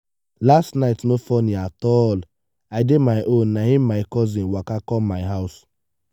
last night no funny at all. i dey my own na im my cousin waka come my house.